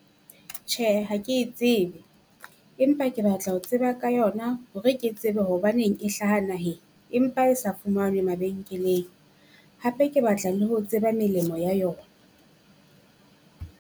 Tjhe ha ke e tsebe, empa ke batla ho tseba ka yona hore ke tsebe hobaneng e hlaha naheng. Empa e sa fumanwe mabenkeleng, hape ke batla le ho tseba melemo ya yona.